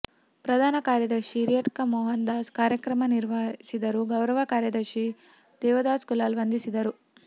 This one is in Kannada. ಪ್ರಧಾನ ಕಾರ್ಯದರ್ಶಿ ಹಿರಿಯಡ್ಕ ಮೋಹನ್ ದಾಸ್ ಕಾರ್ಯಕ್ರಮ ನಿರ್ವಹಿಸಿದರು ಗೌರವ ಕಾರ್ಯದರ್ಶಿ ದೇವದಾಸ್ ಕುಲಾಲ್ ವಂದಿಸಿದರು